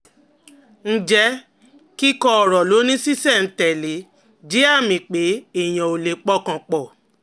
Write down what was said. Ǹjẹ́ kíkó ọ̀rọ̀ lọ ní ṣísẹ̀-n-tẹ̀lé jẹ́ àmì pé èèyàn ò lè pọkàn pọ̀?